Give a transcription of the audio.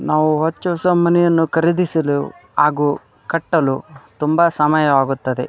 ನಾವು ಹೊಚ್ಚ ಹೊಸ ಮನೆಯನ್ನು ಖರೀದಿಸಲು ಹಾಗು ಕಟ್ಟಲು ತುಂಬಾ ಸಮಯವಾಗುತ್ತದೆ.